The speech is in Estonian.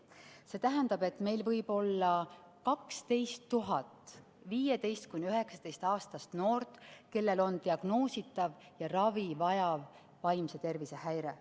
See tähendab, et meil võib olla 12 000 15–19-aastast noort, kellel on diagnoositav ja ravi vajav vaimse tervise häire.